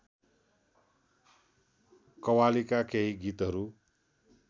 कव्वालीका केही गीतहरू